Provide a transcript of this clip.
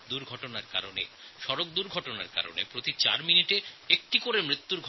দুর্ঘটনার জন্য পথদুর্ঘটনার জন্য প্রতি ৪ মিনিটে একটি করে মৃত্যু হয়